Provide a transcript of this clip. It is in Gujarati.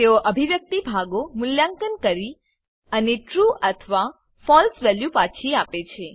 તેઓ અભિવ્યક્તિ ભાગો મૂલ્યાંકન કરી અને ટ્રૂ અથવા ફળસે વેલ્યુ પાછી આપે છે